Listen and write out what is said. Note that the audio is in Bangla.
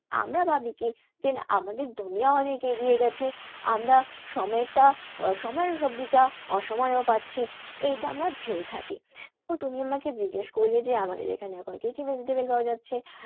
আমরা ভাবি কি যে আমাদের অনেক এগিয়ে গেছে, আমরা সময়টা সময়ের সবজিটা অসময়েও পাচ্ছি, এইটা আমরা ভেবে থাকি। তো তুমি আমাকে জিজ্ঞেস করলে যে আমাদের এখানে এখন কি কি vegetable পাওয়া যাচ্ছে?